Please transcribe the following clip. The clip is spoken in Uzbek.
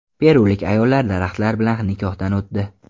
Perulik ayollar daraxtlar bilan nikohdan o‘tdi .